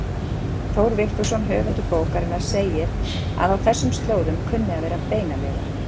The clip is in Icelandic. Þór Vigfússon höfundur bókarinnar segir að á þessum slóðum kunni að vera beinaleifar.